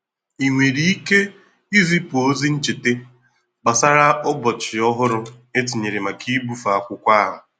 Ị nwere ike izipu ozi ncheta gbasara ụbọchị ọhụrụ e tinyere maka ịbufe akwụkwọ ahụ?